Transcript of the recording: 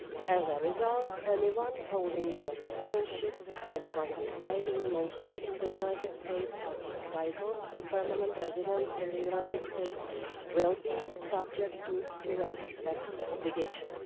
As a result, anyone holding US citizenship, anyone residing mostly in the United States or entitled to permanent residence in the United States will be subject to US tax obligations.